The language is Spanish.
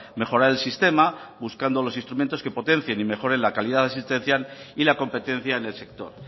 mejorar el sistema buscando los instrumentos que potencien y mejoren la calidad asistencial y la competencia en el sector